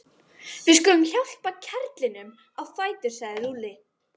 Við skulum hjálpa karlinum á fætur sagði Lúlli.